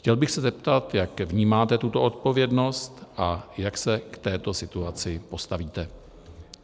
Chtěl bych se zeptat, jak vnímáte tuto odpovědnost a jak se k této situaci postavíte.